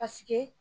Paseke